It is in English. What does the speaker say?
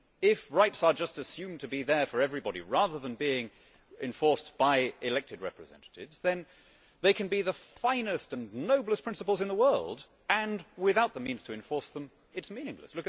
If rights are just assumed to be there for everybody rather than being enforced by elected representatives, they can be the finest and noblest principles in the world and, without the means to enforce them, they are meaningless.